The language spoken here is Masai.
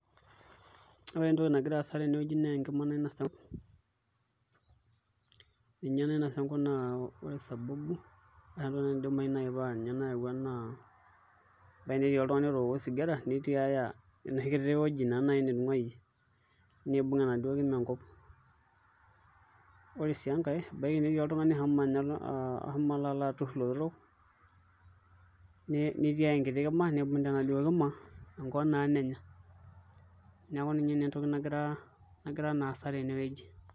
Ore entoki nagira aasa tenewuei naa enkima nainasa enkop ninye nainasa enkop naa ore sababu naidimayu naai nayaua naa ebaiki netii oltung'ani otooko osigara nitiaya enoshi kiti wueji naai kiti netung'uayie niibung' enaduo kima enkima, ore sii enkae ebaiki netii oltung'ani oshomo aturr ilotorok nitiaya enkiti kima niibung' ina kima enkop naa nenya, neeku ina nagira naa aasa tenewuei.